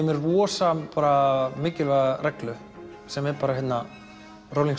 með rosalega mikilvæga reglu sem er bara Rolling